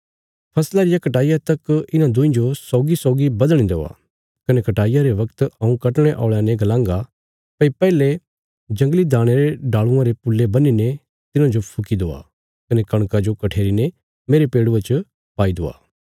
फसला रिया कटाईया तक इन्हां दुईं जो सौगीसौगी बधणे देआ कने कटाईया रे बगत हऊँ कटणे औल़यां ने गलांगा भई पैहले जंगली दाणयां रे डाल़ूआं रे पुल्ले बन्हीने तिन्हांजो फुकी दवा कने कणका जो कठेरीने मेरे पेड़ुये च पाई दवा